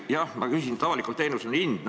Jah, avalikul teenusel on hind.